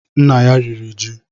Nna ya riri ji